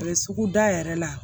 sugu da yɛrɛ la